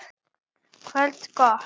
Gott kvöld!